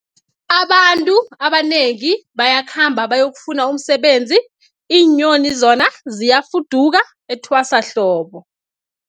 Abantu abanengi bayakhamba bayokufuna umsebenzi, iinyoni zona ziyafuduka etwasahlobo.